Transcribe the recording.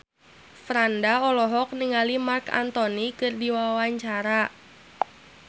Franda olohok ningali Marc Anthony keur diwawancara